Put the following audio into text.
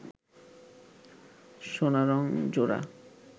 সোনারং জোড়া